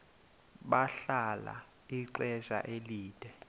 bahlala ixesha elide